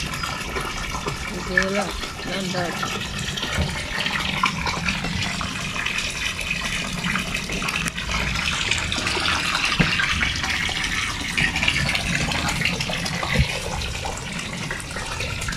nzela na ndako .